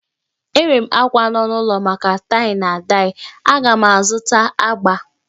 Enwere m àkwá nọ n'ulọ maka taị na daị, aga m azụta agbà